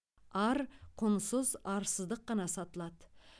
ар құнсыз арсыздық қана сатылады